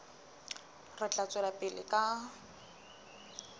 re tla tswela pele ka